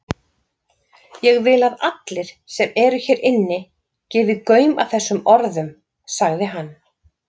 Ég vil að allir sem eru hér inni, gefi gaum að þessum orðum,-sagði hann.